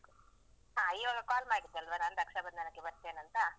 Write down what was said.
ಹಾ ಈವಾಗ call ಮಾಡಿದೆ ಅಲ್ವ ನಾನು ರಕ್ಷಾಬಂಧನಕ್ಕೆ ಬರ್ತೇನಂತ,